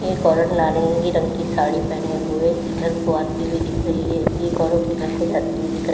एक औरत नारंगी रंग की साड़ी पहने हुए इधर को आती हुई दिख रही है एक औरत उधर को जाती हुई दिख--